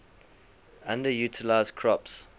underutilized crops